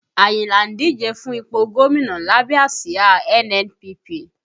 Ayinla ń díje fún ipò gómìnà lábẹ́ àsìá NNPP